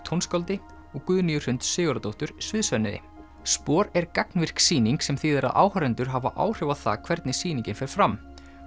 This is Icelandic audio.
tónskáldi og Guðnýju Hrund Sigurðardóttur sviðshönnuði SPOR er gagnvirk sýning sem þýðir að áhorfendur hafa áhrif á það hvernig sýningin fer fram